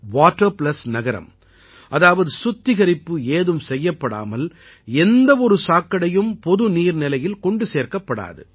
water plus நகரம் அதாவது சுத்திகரிப்பு ஏதும் செய்யப்படாமல் எந்த ஒரு சாக்கடையும் பொது நீர்நிலையில் கொண்டு சேர்க்கப்படாது